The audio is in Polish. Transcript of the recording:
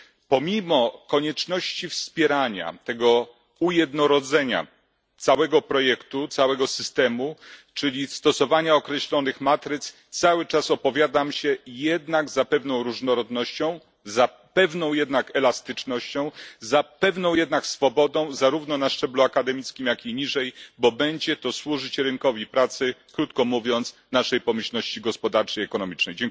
Pomimo konieczności wspierania tego ujednolicenia całego projektu, całego systemu, czyli stosowania określonych matryc, cały czas opowiadam się jednak za pewną różnorodnością, za pewną jednak elastycznością, za pewną jednak swobodą, zarówno na szczeblu akademickim, jak i niżej, bo będzie to służyć rynkowi pracy, krótko mówiąc, naszej pomyślności gospodarczej i ekonomicznej.